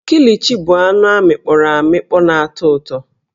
Kilichi bụ anụ amịkpọro amịkpọ na-atọ ụtọ